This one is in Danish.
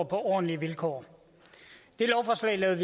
ordentlige vilkår det lovforslag lavede